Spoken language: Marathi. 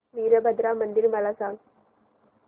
वीरभद्रा मंदिर मला सांग